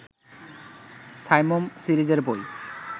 সাইমুম সিরিজের বই